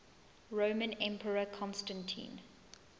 roman emperor constantine